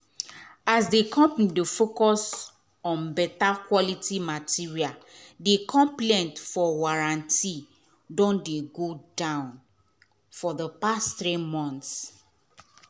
as the company dey focus on beta quality material the complaint for warranty don go down for the past three months.